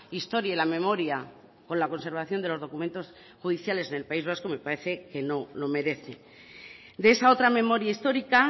historia y la memoria con la conservación de los documentos judiciales en el país vasco me parece que no lo merece de esa otra memoria histórica